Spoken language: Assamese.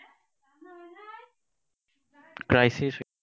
crisis